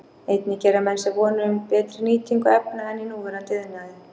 Einnig gera menn sér vonir um betri nýtingu efna en í núverandi iðnaði.